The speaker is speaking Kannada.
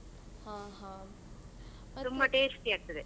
ಆ ಹಾ.